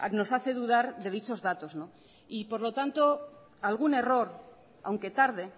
nos hace dudar de dichos datos no y por lo tanto algún error aunque tarde